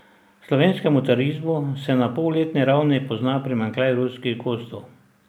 Slovenskemu turizmu se na polletni ravni pozna primanjkljaj ruskih gostov.